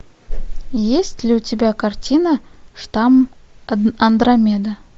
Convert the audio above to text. есть ли у тебя картина штамм андромеда